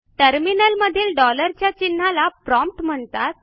टर्मिनलमधील डॉलरच्या चिन्हाला प्रॉम्प्ट म्हणतात